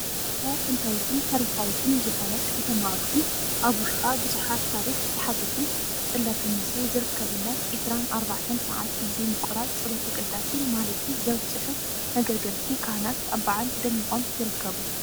ናይታ ጥንታዊትን ታሪኻዊትን ዝኮነት ከተማ ኣክሱ ም ኣብ ውሽጣ ብዙሓት ታሪክ ዝሓዘትን ፀላተ ሙሴ ዝርከበላን ዒስራን ኣርባዕተን ሰዓት ብዘይ ምቁራፅ ጸሎተ ቅዳሴን ማህሌትን ዘብፅሑ መገልገልቲ ካህናት ኣብ በዓል ደሚቆም ይርከቡ።